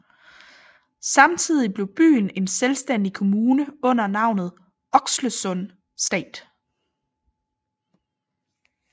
Samtidigt blev byen en selvstændig kommune under navnet Oxelösunds stad